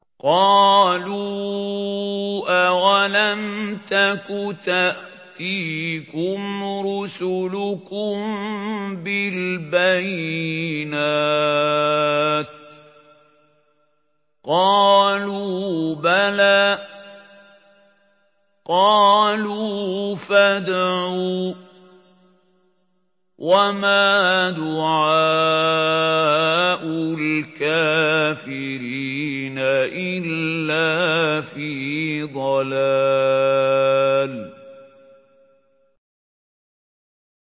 قَالُوا أَوَلَمْ تَكُ تَأْتِيكُمْ رُسُلُكُم بِالْبَيِّنَاتِ ۖ قَالُوا بَلَىٰ ۚ قَالُوا فَادْعُوا ۗ وَمَا دُعَاءُ الْكَافِرِينَ إِلَّا فِي ضَلَالٍ